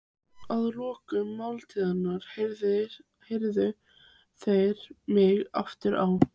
Að lokinni máltíðinni keyrðu þeir mig aftur á